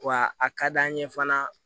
Wa a ka d'an ye fana